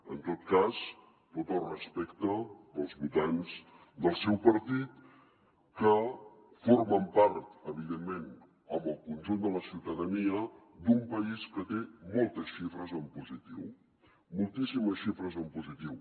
en tot cas tot el respecte pels votants del seu partit que formen part evidentment amb el conjunt de la ciutadania d’un país que té moltes xifres en positiu moltíssimes xifres en positiu